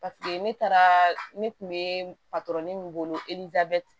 Paseke ne taara ne kun be min bolo